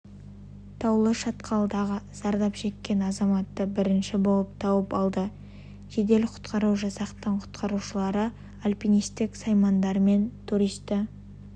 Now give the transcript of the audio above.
таулы шатқалдағы зардап шеккен азаматты бірінші болып тауып алды жедел-құтқару жасақтың құтқарушылары альпинистік саймандарымен туристі